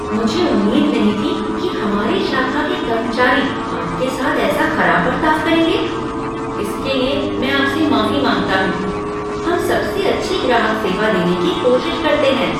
मुझे उम्मीद नहीं थी कि हमारी शाखा के कर्मचारी आपके साथ ऐसा खराब बर्ताव करेंगे। इसके लिए मैं आपसे माफी माँगता हूँ। हम सबसे अच्छी ग्राहक सेवा देने की कोशिश करते हैं,